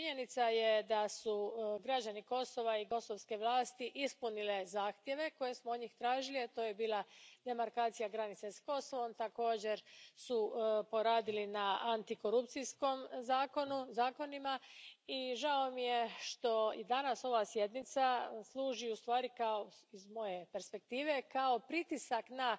Činjenica je da su građani Kosova i kosovske vlasti ispunile zahtjeve koje smo od njih tražili, a to je bila demarkacija granice s Kosovom, također su poradili na antikorupcijskim zakonima i žao mi je što i danas ova sjednica služi u stvari, iz moje perspektive, kao pritisak na